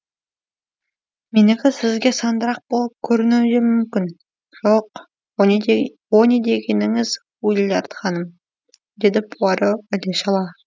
менікі сізге сандырақ болып көрінуі де мүмкін жоқ о не дегеніңіз уиллард ханым деді пуаро іле шала